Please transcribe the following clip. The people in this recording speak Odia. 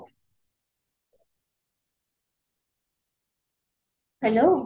hello